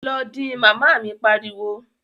Lọ din! Màmá mi pariwo